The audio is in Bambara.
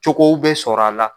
Cogow bɛ sɔrɔ a la